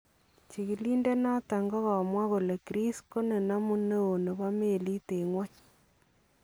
Chikiliindet noton kokamwaa kole Greece ko nenamuu neon nebo meliit en ngwony .